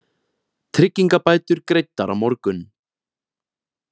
Tryggingabætur greiddar á morgun